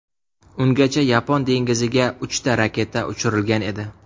Ungacha Yapon dengiziga uchta raketa uchirilgan edi.